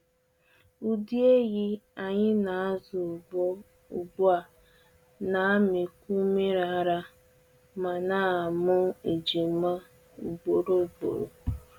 Ụdị ehi anyị na-azụ ugbu ugbu a na-amịkwu nmiri ara ma na-amụ ejima ugboro ugboro.